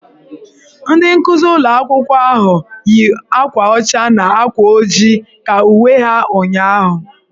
Ndị nkuzi ụlọ akwụkwọ ahụ yi akwa ọcha na akwa ojii ka uwe ha ụnyahụ.